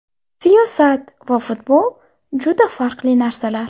Siyosat va futbol juda farqli narsalar.